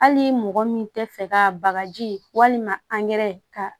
Hali mɔgɔ min tɛ fɛ ka bagaji walima angɛrɛ ka